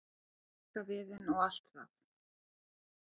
rekaviðinn og allt það.